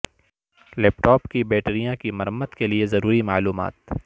لیپ top کی بیٹریاں کی مرمت کے لئے ضروری معلومات